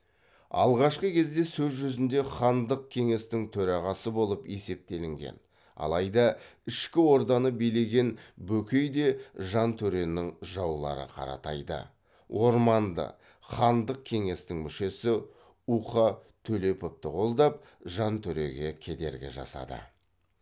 алғашқы кезде сөз жүзінде хандық кеңестің төрағасы болып есептелінген алайда ішкі орданы билеген бөкей де жантөренің жаулары қаратайды орманды хандық кеңестің мүшесі уқа төлеповты қолдап жантөреге кедергі жасады